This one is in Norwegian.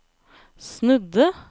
snudde